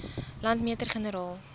landmeter generaal